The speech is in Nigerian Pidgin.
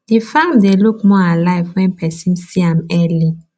the farm dey look more alive when person see am early